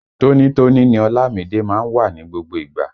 Tóní tóní ni Ọlámìídé má ń wà ní gbogbo ìgbà